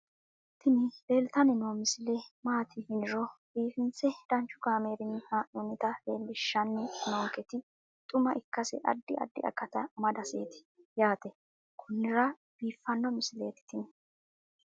tini leeltanni noo misile maaati yiniro biifinse danchu kaamerinni haa'noonnita leellishshanni nonketi xuma ikkase addi addi akata amadaseeti yaate konnira biiffanno misileeti tini